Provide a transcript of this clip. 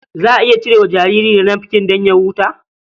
Za a iya cire wa jariri nafkin don ya huta.